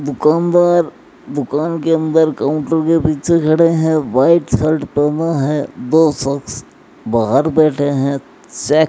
दुकानदार दुकान के अंदर काउंटर के पिछे खड़े हैं व्हाइट शर्ट पहना है दो शख्स बाहर बैठे हैं चे --